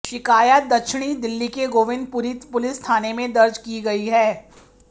शिकायत दक्षिणी दिल्ली के गोविंदपुरी पुलिस थाने में दर्ज की गई है